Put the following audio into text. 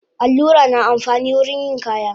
Allura na amfani wurin yin kaya